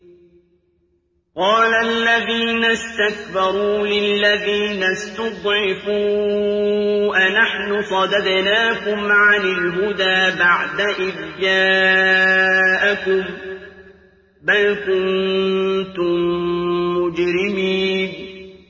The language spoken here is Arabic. قَالَ الَّذِينَ اسْتَكْبَرُوا لِلَّذِينَ اسْتُضْعِفُوا أَنَحْنُ صَدَدْنَاكُمْ عَنِ الْهُدَىٰ بَعْدَ إِذْ جَاءَكُم ۖ بَلْ كُنتُم مُّجْرِمِينَ